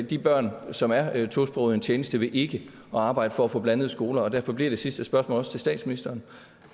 de børn som er tosprogede en tjeneste ved ikke at arbejde for at få blandede skoler derfor bliver det sidste spørgsmål til statsministeren